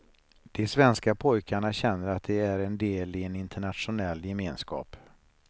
De svenska pojkarna känner att de är en del i en internationell gemenskap.